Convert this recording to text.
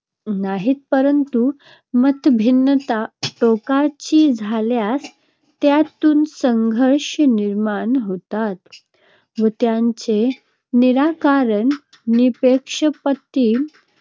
नाहीत, परंतु मतभिन्नता टोकाची झाल्यास त्यातून संघर्ष निर्माण होतात व त्यांचे निराकरण निःपक्षपाती